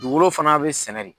Dugugolo fana bɛ sɛnɛ de.